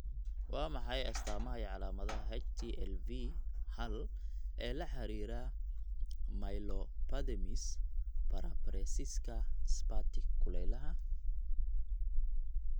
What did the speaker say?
Waa maxay astamaha iyo calaamadaha HTLV hal ee la xidhiidha myelopathymise paraparesiska spastic kulaylaha?